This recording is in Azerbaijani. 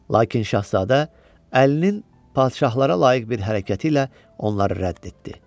Lakin şahzadə əlinin padşahlara layiq bir hərəkəti ilə onları rədd etdi.